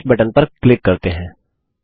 अब finish button पर click करते हैं